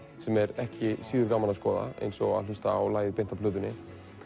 sem er ekki síður gaman að skoða eins og að hlusta á lagið beint af plötunni